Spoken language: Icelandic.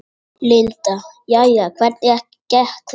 Linda: Jæja, hvernig gekk þetta?